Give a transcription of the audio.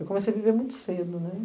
Eu comecei a viver muito cedo, né?